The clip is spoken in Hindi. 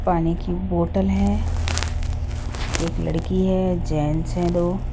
पानी की बोतल हैं एक लड़की हैं जेंट्स हैं दो --